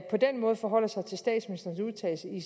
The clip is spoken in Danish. den måde forholder sig til statsministerens udtalelse i